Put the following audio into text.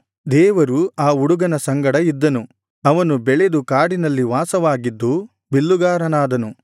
ದೇವರು ಆ ಹುಡುಗನ ಸಂಗಡ ಇದ್ದನು ಅವನು ಬೆಳೆದು ಕಾಡಿನಲ್ಲಿ ವಾಸವಾಗಿದ್ದು ಬಿಲ್ಲುಗಾರನಾದನು